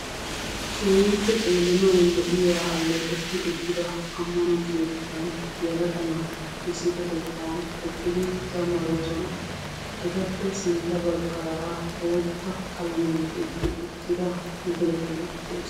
Keehippe xeellanaw lo"iya ammano keettan yelaga naati issippetettan eqqidi zammaroosona. Etappe sintta baggaara boota qalamiyan tiyyetti uttida madirekke de'ees.